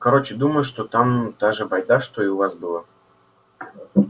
короче думаю что там та же байда что и у вас было